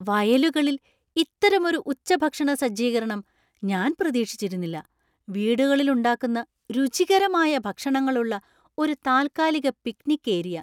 വയലുകളിൽ ഇത്തരമൊരു ഉച്ചഭക്ഷണ സജ്ജീകരണം ഞാൻ പ്രതീക്ഷിച്ചിരുന്നില്ല, വീടുകളിൽ ഉണ്ടാക്കുന്ന രുചികരമായ ഭക്ഷണങ്ങളുള്ള ഒരു താൽക്കാലിക പിക്നിക് ഏരിയ!